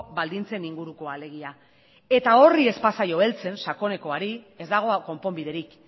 baldintzen ingurukoa alegia eta horri ez bazaio heltzen sakonekoari ez dago konponbiderik